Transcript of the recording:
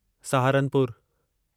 सहारनपुरु